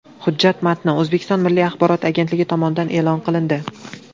Hujjat matni O‘zbekiston Milliy axborot agentligi tomonidan e’lon qilindi .